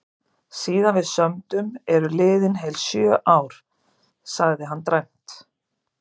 Síðan við sömdum eru liðin heil sjö ár, sagði hann dræmt.